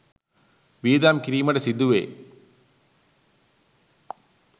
වියදම් කිරීමට සිදුවේ.